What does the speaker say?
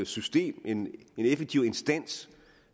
system og en effektiv instans